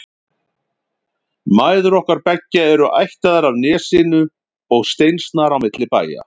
Mæður okkar beggja eru ættaðar af Nesinu og steinsnar á milli bæja.